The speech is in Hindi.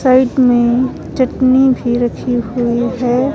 साइड में चटनी भी रखी हुई है।